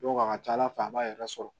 a ka ca ala fɛ a b'a yɛrɛ sɔrɔ